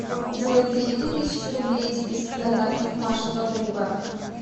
джой переведи тысячу рублей из списка контактов маша подруга